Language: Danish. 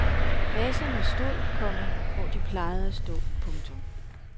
Vaserne stod, komma hvor de plejede at stå. punktum